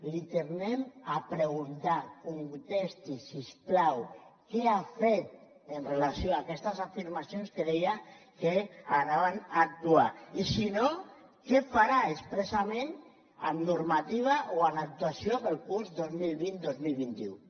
l’hi tornem a preguntar contesti si us plau què ha fet en relació amb aquestes afirmacions en què deia que actuarien i si no què farà expressament en normativa o en actuació per al curs dos mil vint dos mil vint u